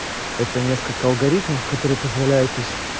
это несколько алгоритмов которые позволяют